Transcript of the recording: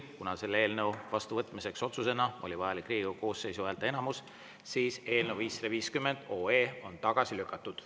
Kuna selle eelnõu otsusena vastuvõtmiseks oli vajalik Riigikogu koosseisu häälteenamus, siis on eelnõu 550 tagasi lükatud.